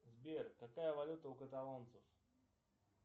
сбер какая валюта у каталонцев